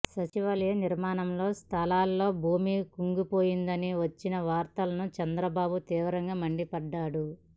సచివాలయం నిర్మాణ స్థలిలో భూమి కుంగిపోయిందని వచ్చిన వార్తలపై చంద్రబాబు తీవ్రంగా మండిపడ్డారు